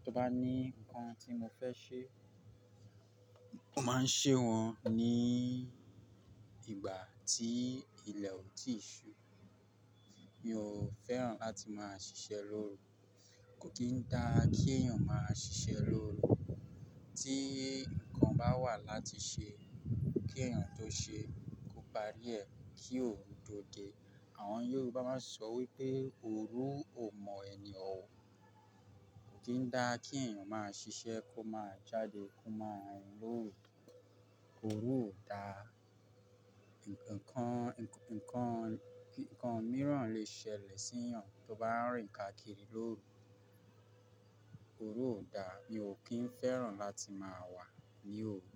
Tí ó bá ní nǹkan tí mo fẹ́ ṣe, mo máa ń ṣe wọ́n ní ìgbà tí ilẹ̀ ò tíì ṣú. Mi ò fẹ́ràn láti máa ṣiṣẹ́ lóru. Kò kí ń dára kí èèyàn máa ṣiṣẹ́ lóru. Tí nǹkan bá wà láti ṣe, kí èèyàn tó ṣe é kó parí ẹ̀ kí òru tó dé. Àwọn Yorùbá máa ń sọ wípé: "Òru ò mọ ẹni o." Kò kí ń dá kí èèyàn máa ṣiṣẹ́ kó máa jáde kó máa rìn lóru. Òru ò da. Nǹkan mìíràn lè ṣẹlẹ̀ sí èèyàn tí ó bá ń rìn káàkiri lóru. Òru ò da. Mi ò kí ń fẹ́ràn láti máa wà ní òru.